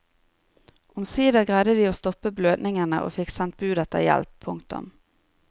Omsider greide de å stoppe blødningene og fikk sendt bud etter hjelp. punktum